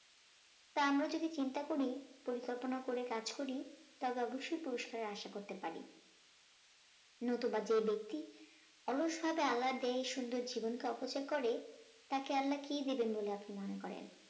তা আমরা যদি চিন্তা করি পরিকল্পনা করে কাজ করি তবে অবশ্যই পুরস্কারের আশা করতে পারি নতুবা যে ব্যক্তি অলসতা আহ্লাদে সুন্দর জীবনকে অপচয় করে তাকে আল্লাহ কি দিবেন বলে আপনি মনে করেন